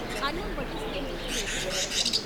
అన్నం వడ్డిస్తే ముట్టలేదు శివయ్య.